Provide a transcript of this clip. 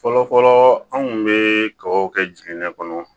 Fɔlɔfɔlɔ anw kun be kabaw kɛ jiginɛ kɔnɔ